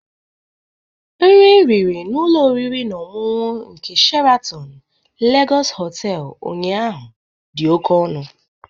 Nri m riri n'ụlọ oriri na ọṅụṅụ nke Sheratọn Legọsị Họtelụ ụnyaahụ dị oke ọnụ.